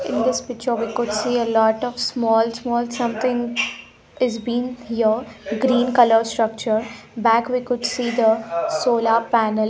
in this picture we could see a lot of small small something is been here green colour structure back we could see the solar panel.